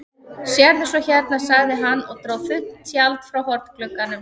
Sérðu svo hérna, sagði hann og dró þunnt tjald frá hornglugganum.